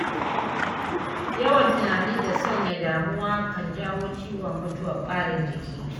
Yawan tunani da sanya damuwa kan jawo ciwon mutuwar ɓarin jiki.